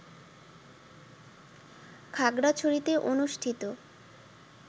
খাগড়াছড়িতে অনুষ্ঠিত